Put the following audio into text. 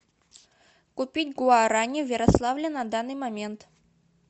купить гуарани в ярославле на данный момент